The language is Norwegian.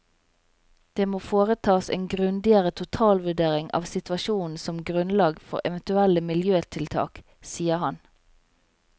Det må foretas en grundigere totalvurdering av situasjonen som grunnlag for eventuelle miljøtiltak, sier han.